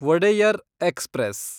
Wodeyar express